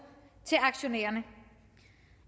til aktionærerne